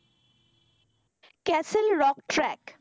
Castle rock track